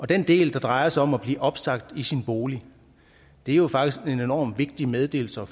den del der drejer sig om at blive opsagt i sin bolig er jo faktisk en enormt vigtig meddelelse